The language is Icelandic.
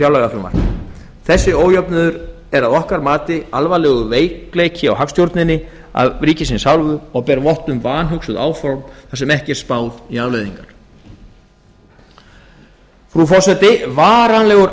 fjárlagafrumvarpið þessi ójöfnuður er að okkar mati alvarlegur veikleiki á hagstjórninni af ríkisins hálfu og ber vott um vanhugsuð áform þar sem ekki er spáð í afleiðingar frú forseti varanlegur